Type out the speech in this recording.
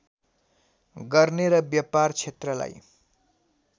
गर्ने र व्यापार क्षेत्रलाई